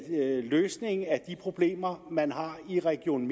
løsning af de problemer man har i region